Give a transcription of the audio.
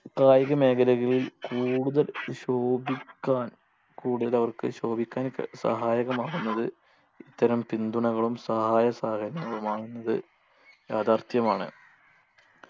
കായിക മേഖലകളിൽ കൂടുതൽ ശോഭിക്കാൻ കൂടുതൽ അവർക്ക് ശോഭിക്കാൻ ക സഹായകമാകുന്നത് ഇത്തരം പിന്തുണകളും സഹായസഹകരണങ്ങളുമാണെന്നത് യാഥാർത്ഥ്യമാണ്